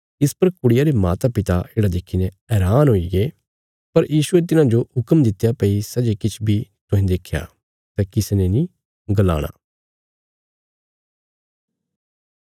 इस पर कुड़िया रे मातापिता येढ़ा देखीने हैरान हुईगे पर यीशुये तिन्हाजो हुक्म दित्या भई सै जे किछ बी तुहें देख्या सै किसी ने नीं गलाणा